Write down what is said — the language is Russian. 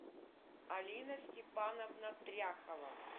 алина степановна тряхова